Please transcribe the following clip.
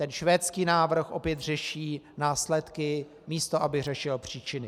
Ten švédský návrh opět řeší následky, místo aby řešil příčiny.